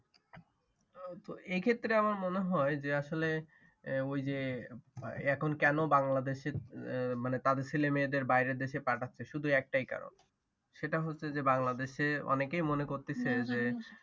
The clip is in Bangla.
এ ক্ষেত্রে আমার মনে হয় যে আসলে ওই যে এখন কেন বাংলাদেশের মানে তাদের ছেলে মেয়েদের বাহিরের দেশে পাঠাচ্ছে শুধু একটাই কারণ সেটা হচ্ছে যে বাংলাদেশের অনেকেই মনে করতেছে যে